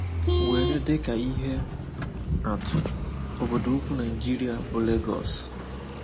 Were dị ka ihe atụ, obodo ukwu Naịjirịa bụ́ Lagos.